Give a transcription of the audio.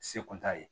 Se kun t'a ye